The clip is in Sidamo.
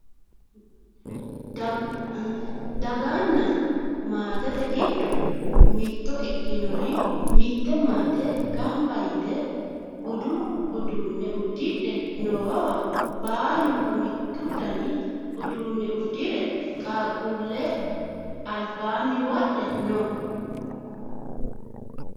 daganna maatete giddo mitto ikinori mitte maate ganba yite budu uduunne uddidhe noowa baalunku mittu dani uduune uddire qaaqquulleno albaani wodhe no